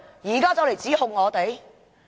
現在卻來指控我們。